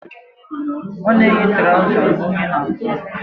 Ọ na-eyi trọza mgbe oyi na-atụ